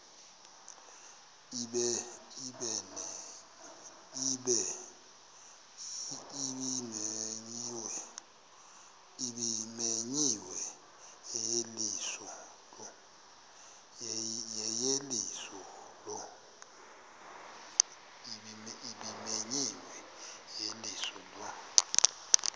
ebimenyiwe yeyeliso lo